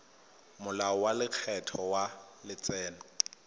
molao wa lekgetho wa letseno